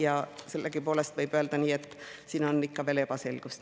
Ja sellegipoolest võib öelda, et siin on ikka veel ebaselgust.